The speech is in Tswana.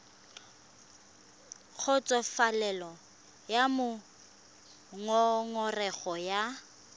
kgotsofalele ka moo ngongorego ya